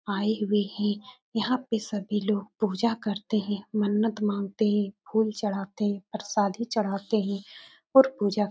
आए हुए हैं। यहाँ पे सभी लोग पूजा करते हैं मन्नत मांगते हैं फूल चढ़ाते परसादी चढ़ाते हैं और पूजा --